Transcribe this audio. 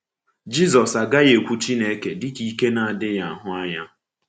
Jizọs agaghị ekwu Chukwu dịka ike na-adịghị ahụ anya.